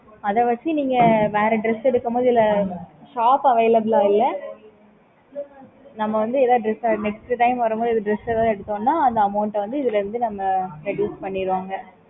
okay mam